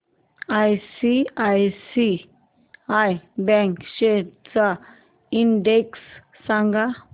ICICI bank shares चा index सांगा